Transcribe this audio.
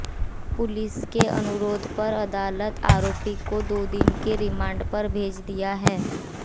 police के अनुरोध पर अदालत आरोपी को दो दिन के रिमांड पर भेज दिया है